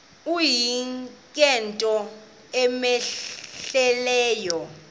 uyise ngento cmehleleyo